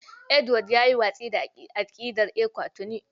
Edward ya yi watsi da aƙidar ECWA tuni.